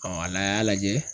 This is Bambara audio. n'a, a y'a lajɛ